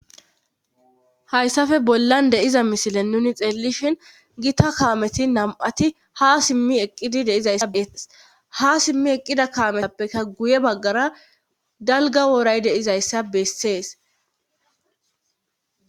hayssafe bollan deiza misile nuni xeellishin gita kaameti nam7ati ha simmi eqqidi deizayssa bee ha simmi eqqida kaametappeka guye baggara dalga woray de'izayssa bessees